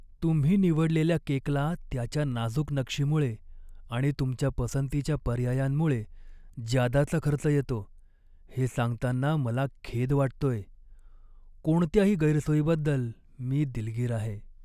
तुम्ही निवडलेल्या केकला त्याच्या नाजूक नक्षीमुळे आणि तुमच्या पसंतीच्या पर्यायांमुळे ज्यादाचा खर्च येतो हे सांगतांना मला खेद वाटतोय. कोणत्याही गैरसोयीबद्दल मी दिलगीर आहे.